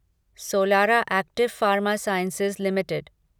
Solara active pharma sciences limited